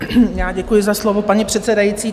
Já děkuji za slovo, paní předsedající.